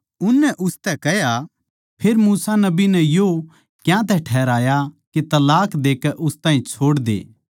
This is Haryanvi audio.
उननै उसतै कह्या फेर मूसा नबी नै यो क्यातै ठहराया के तलाक देकै उस ताहीं छोड़दे